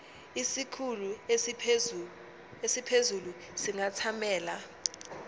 isikhulu esiphezulu singathamela